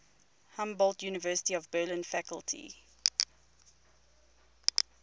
humboldt university of berlin faculty